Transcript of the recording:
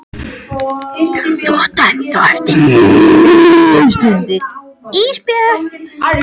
Þú átt ennþá eftir níu stundir Ísbjörg.